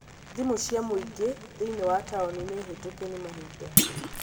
thimũ cia mũingĩ thĩinĩ wa taũni nĩ hĩtũke ni mahĩnda